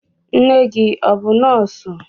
Nne gị ọ bụ nọọsụ?